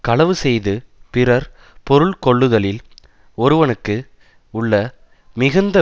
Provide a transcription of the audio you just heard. களவு செய்து பிறர் பொருள் கொள்ளுதலில் ஒருவனுக்கு உள்ள மிகுந்த